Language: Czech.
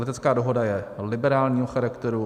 Letecká dohoda je liberálního charakteru.